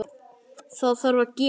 Það þarf að gerast.